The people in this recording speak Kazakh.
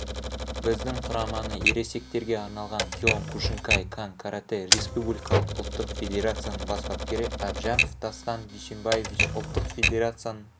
біздің құраманы ересектерге арналған киокушинкай-кан каратэ республикалық ұлттық федерацияның бас бапкері әбжанов дастан дуйсенбаевич ұлттық федерацияның